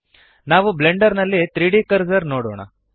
ನಾವು ಬ್ಲೆಂಡರ್ ನಲ್ಲಿ 3ದ್ ಕರ್ಸರ್ ನೋಡೋಣ